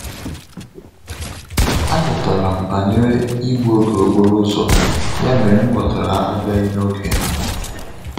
A gutara m banyere igbu oge okporo ụzọ, ya mere m ghọtara abịaghị n'oge ha